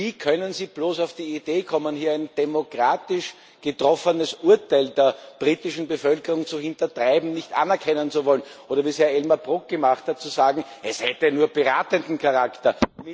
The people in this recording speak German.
Wie können Sie bloß auf die Idee kommen, hier ein demokratisch getroffenes Urteil der britischen Bevölkerung zu hintertreiben, nicht anerkennen zu wollen oder, wie es ja Elmar Brok gemacht hat, zu sagen Es hätte nur beratenden Charakter.